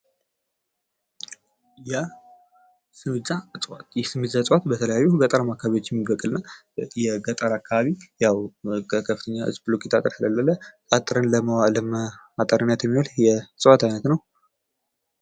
የሲሚዛ እፀዋት፦ የሲሚዛ እፅዋት በተለያዩ ገጠራማ አካባቢዎች የሚበቅል ነው። የገጠር አካባቢ ያው ከፍተኛ የብሎኬት አጥር ስሌለ አጥርን ማጠሪያነት የሚውል የእፅዋት አይነት ነው።